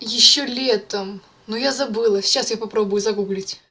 ещё летом но я забыла сейчас я попробую загуглить